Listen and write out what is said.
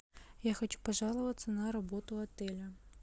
я хочу пожаловаться на работу отеля